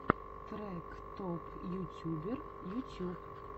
трек топ ютубер ютьюб